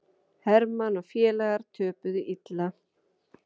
Hermann og félagar töpuðu illa